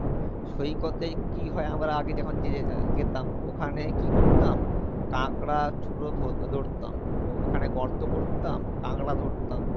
সৈকতেই কী হয় আমরা আগে যখন যে আহ যেতাম ওখানে কী করতাম, কাকড়া চুরো ধর~ধরতাম ওখানে গর্ত করতাম কাকড়া ধরতাম,